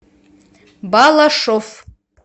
балашов